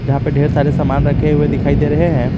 जहां पे ढेर सारे सामान रखे हुए दिखाई दे रहे हैं।